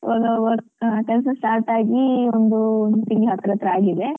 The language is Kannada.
So ಅದು work ಕೆಲ್ಸ ಆಗಿ ಒಂದು ಒಂದ್ ತಿಂಗ್ಳು ಹತ್ತ್ರತ್ರ ಆಗಿದೆ.